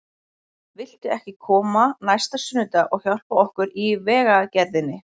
Viltu ekki koma næsta sunnudag og hjálpa okkur í vegagerðinni?